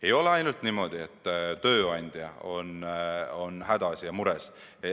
Ei ole ainult niimoodi, et tööandjad on hädas ja mures.